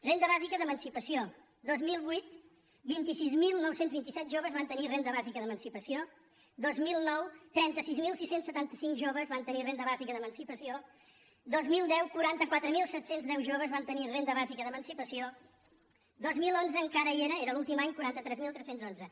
renda bàsica d’emancipació dos mil vuit vint sis mil nou cents i vint set joves van tenir renda bàsica d’emancipació dos mil nou trenta sis mil sis cents i setanta cinc joves van tenir renda bàsica d’emancipació dos mil deu quaranta quatre mil set cents i deu joves van tenir renda bàsica d’emancipació dos mil onze encara hi era era l’últim any quaranta tres mil tres cents i onze